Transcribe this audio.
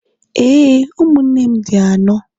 ee, ụmụnne m dị anọ.